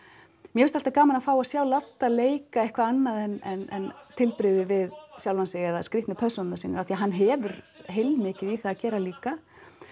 finnst alltaf gaman að sjá leika eitthvað annað en tilbrigði við sjálfan sig eða skrítnu persónurnar sínar því hann hefur heilmikið í það að gera líka